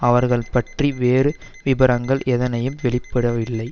அவர்கள் பற்றிய வேறு விபரங்கள் எதனையும் வெளியிடவில்லை